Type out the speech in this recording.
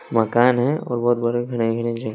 मकान है और बहोत बड़ा ।